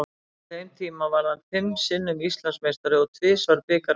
Á þeim tíma varð hann fimm sinnum Íslandsmeistari og tvisvar bikarmeistari.